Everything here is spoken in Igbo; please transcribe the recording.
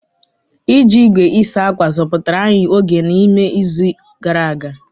Iji igwe ịsa ákwà zọpụtara anyị oge na ume n'izu gara aga.